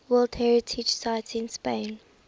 world heritage sites in spain